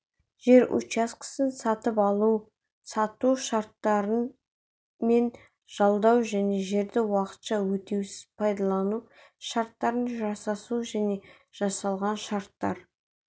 жер учаскесін сатып алу-сату шарттары мен жалдау және жерді уақытша өтеусіз пайдалану шарттарын жасасу және жасалған шарттар